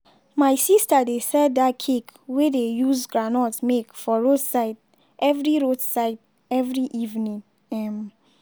my sister dey sell dat cake wey dey use groundnut make for roadside every roadside every evening. um